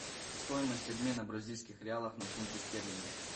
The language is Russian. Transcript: стоимость обмена бразильских реалов на фунты стерлинги